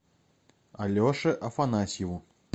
алеше афанасьеву